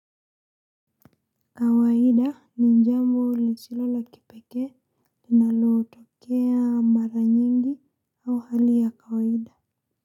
Kawaida ni jambo lisilo la kipeke linalotokea mara nyingi au hali ya kawaida.